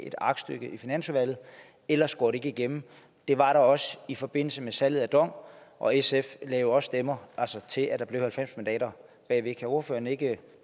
et aktstykke i finansudvalget ellers går det ikke igennem det var der også i forbindelse med salget af dong og sf lagde også stemmer til at der var halvfems mandater bag kan ordføreren ikke